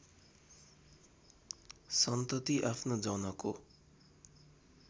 सन्तती आफ्नो जनको